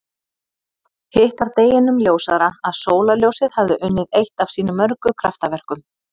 Hitt var deginum ljósara að sólarljósið hafði unnið eitt af sínum mörgu kraftaverkum.